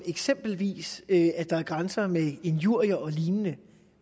eksempelvis at der er grænser i forbindelse med injurier og lignende